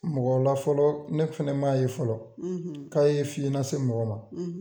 Mɔgɔw la fɔlɔ ne fɛnɛ m'a ye fɔlɔ k'a ye fiye lase mɔgɔ ma